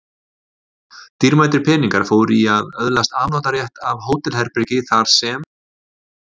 Dýrmætir peningar fóru í að öðlast afnotarétt af hótelherbergi þar sem